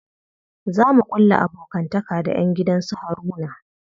Za mu ƙulla abokantaka da ƴan gidan su Haruna.